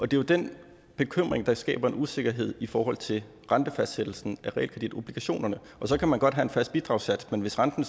det er jo den bekymring der skaber en usikkerhed i forhold til rentefastsættelsen af realkreditobligationerne så kan man godt have en fast bidragssats men hvis renten